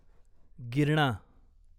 Girna